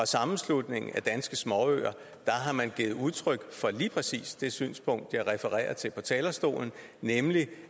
sammenslutningen af danske småøer har givet udtryk for lige præcis det synspunkt jeg refererede til på talerstolen nemlig